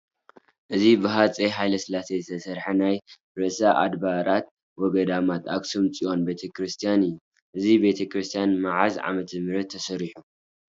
እዚ ብሃፀይ ሃይለስላሴ ዝተሰርሐ ናይ ርእሰ ኣድባራት ወገዳማት ኣኽሱም ፅዮን ቤተ ክርስቲያን እዩ፡፡ እዚ ቤተ ክርስቲያን መዓዝ ዓመተ ምህረት ተሰሪሑ?